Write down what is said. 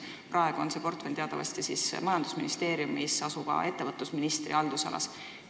Praegu on see portfell teatavasti majandusministeeriumis asuva ettevõtlusministri haldusalas.